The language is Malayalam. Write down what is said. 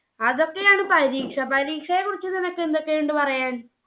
അതൊക്കെയാണ് പരീക്ഷ. പരീക്ഷയെ കുറിച്ച് നിനക്ക് എന്തൊക്കെയുണ്ട് പറയാൻ?